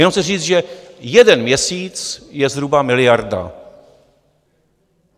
Jenom chci říct, že jeden měsíc je zhruba miliarda.